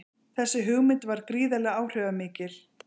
Þessi hugmynd varð gríðarlega áhrifamikil.